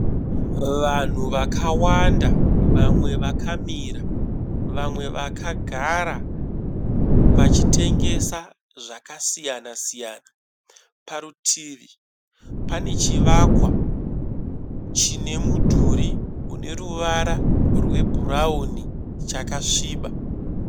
Vanhu vakawanda, vamwe vakamira vamwe vakagara vachitengesa zvakasiyana siyana. Parutivi pane chivakwa chine mudhurii une ruvara rwe bhurauni chakasviba.